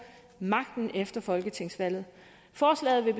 magten efter folketingsvalget forslaget vil